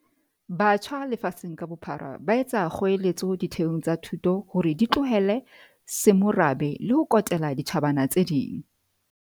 Batjha lefatsheng ka bophara ba etsa kgoeletso ditheong tsa thuto hore di tlohele semorabe le ho kotela ditjhabana tse ding.